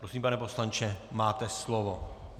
Prosím, pane poslanče, máte slovo.